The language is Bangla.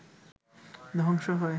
ধ্বংস হয়